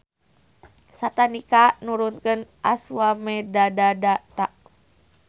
Satanika nurunkeun Aswamedadata.